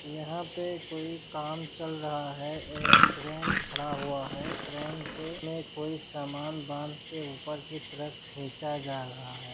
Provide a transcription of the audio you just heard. यहाँ पे कोई काम चल रहा है एक क्रेन खड़ा हुआ है क्रेन से में कोई सामन बांधके ऊपर की तरफ खीचा जा रहा है।